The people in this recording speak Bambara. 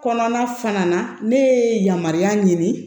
Kɔnɔna fana na ne ye yamaruya ɲini